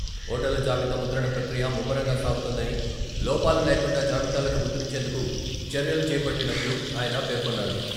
ఓటర్ల జాబితా ముద్రణ ప్రక్రియ ముమ్మరంగా సాగుతోందని, లోపాలు లేకుండా జాబితాలను ముద్రించేందుకు చర్యలు చేపట్టినట్లు ఆయన పేర్కొన్నారు.